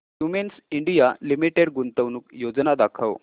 Cummins India Limited गुंतवणूक योजना दाखव